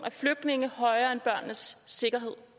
af flygtninge højere end børnenes sikkerhed